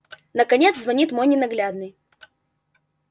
наконец звонит мой ненаглядный